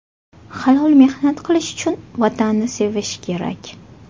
Halol mehnat qilish uchun Vatanni sevish kerak.